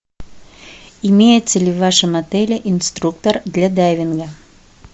имеется ли в вашем отеле инструктор для дайвинга